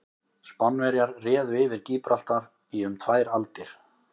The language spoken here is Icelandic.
Spánverjar réðu yfir Gíbraltar í um tvær aldir.